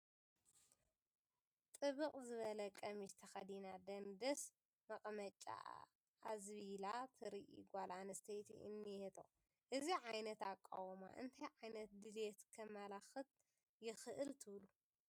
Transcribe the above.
ጥብቅ ዝበለ ቀሚሽ ተኸዲና ደንደስ መቐመጫኣ ኣዝቢላ ተርኢ ጓል ኣነስተይቲ እኔቶ፡፡ እዚ ዓይነት ኣቃውማ እንታይ ዓይነት ድሌት ከመላኽት ይኽእል ትብሉ?